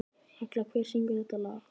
Agla, hver syngur þetta lag?